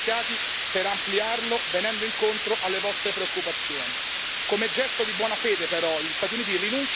Come gesto di buona fede, però, gli Stati Uniti rinuncino quantomeno ad applicare le sanzioni secondarie alle compagnie europee.